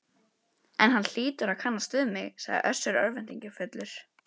En hann hlýtur að kannast við mig, sagði Össur örvæntingarfullur.